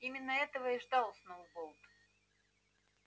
именно этого и ждал сноуболл